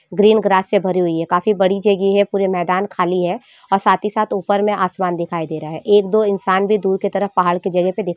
green grass से भरी हुई है काफी बड़ी जगह है पूरी मैदान खाली है और साथ ही साथ ऊपर में आसमान दिखाई दे रहा है एक दो इंसान भी दूर के तरफ पहाड़ के जगह पे दिख--